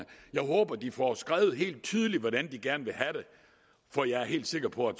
jeg håber de får skrevet helt tydeligt hvordan de gerne vil have det for jeg er helt sikker på at